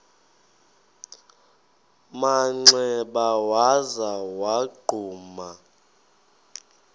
manxeba waza wagquma